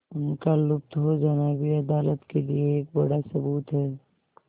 उनका लुप्त हो जाना भी अदालत के लिए एक बड़ा सबूत है